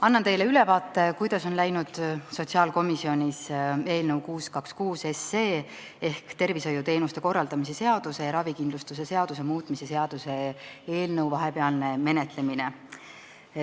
Annan teile ülevaate, kuidas on läinud sotsiaalkomisjonis eelnõu 626 ehk tervishoiuteenuste korraldamise seaduse ja ravikindlustuse seaduse muutmise seaduse eelnõu vahepealne menetlemine.